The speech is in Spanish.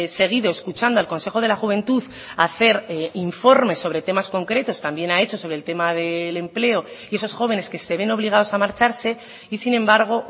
seguido escuchando al consejo de la juventud hacer informes sobre temas concretos también ha hecho sobre el tema del empleo y esos jóvenes que se ven obligados a marcharse y sin embargo